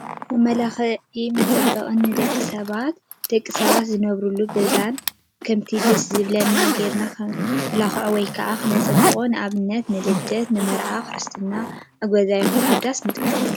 መመላክንዕ መፃባበቅን ንደቅሰባትን ደቂሰባት ዝነበርሎም ገዛውትን ከምቲ ደስ ዝብለና ገይርና ከመላክፆ ፣ወይ ከዓ ክነፀብቆ ንኣብነት ንልደት ፣ንመርዓ፣ ክርስትና ኣብ ገዛ ይኩን ኣብ ዳስ ንጥቀመሉ።